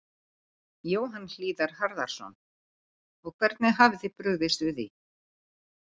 Jóhann Hlíðar Harðarson: Og hvernig hafið þið brugðist við því?